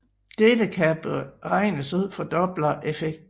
Dette kan beregnes ud fra dopplereffekten